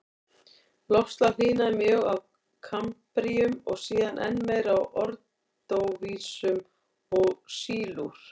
Loftslag hlýnaði mjög á kambríum og síðan enn meir á ordóvísíum og sílúr.